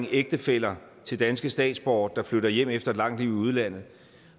ægtefæller til danske statsborgere der flytter hjem efter et langt liv i udlandet